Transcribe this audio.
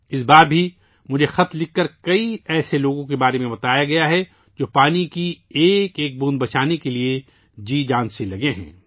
اس بار بھی مجھے خط لکھ کر کئی ایسے لوگوں کے بارے میں بتایا گیا ہے جو پانی کی ایک ایک بوند کو بچانے کی پوری کوشش کر رہے ہیں